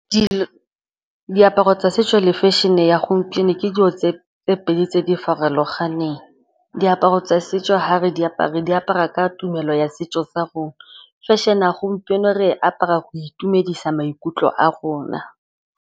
Diaparo tsa setso le fashion-e ya gompieno ke dilo tse pedi tse di farologaneng. Diaparo tsa setso fa re di apara re di apara ka tumelo ya setso sa rona. Fashion-e ya gompieno re apara go itumedisa maikutlo a rona.